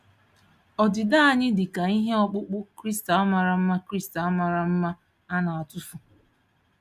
Ọdịda anyị dị ka ihe ọkpụkpụ kristal mara mma kristal mara mma a na-atụfu.